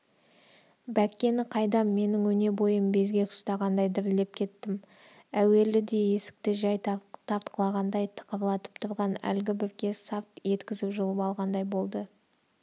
бәккені қайдам менің өне бойым безгек ұстағандай дірілдеп кеттім әуеліде есікті жай тартқылағандай тықырлатып тұрған әлгі бір кез сарт еткізіп жұлып алғандай болды